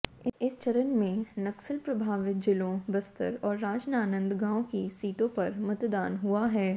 इस चरण में नक्सल प्रभावित जिलों बस्तर और राजनांदगांव की सीटों पर मतदान हुआ है